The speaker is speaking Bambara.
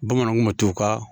Bamananw kun bɛ t'u ka